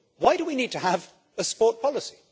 So why do we need to have a sport policy?